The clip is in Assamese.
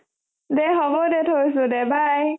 দে হ'ব দে থইছো দে bye